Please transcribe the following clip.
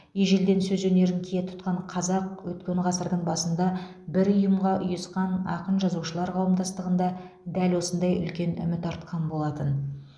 ежелден сөз өнерін кие тұтқан қазақ өткен ғасырдың басында бір ұйымға ұйысқан ақын жазушылар қауымдастығында дәл осындай үлкен үміт артқан болатын